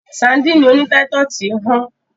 Sadíìnì oní táítọ̀sì hán.